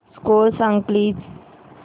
score सांग please